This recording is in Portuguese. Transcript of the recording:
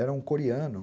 Era um coreano.